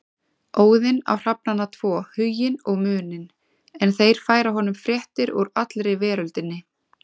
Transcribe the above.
Óðinn á hrafnana tvo Huginn og Muninn en þeir færa honum fréttir úr allri veröldinni.